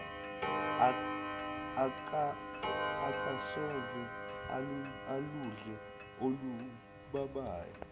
akasoze aludle olubabayo